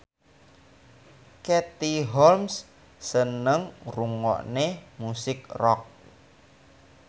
Katie Holmes seneng ngrungokne musik rock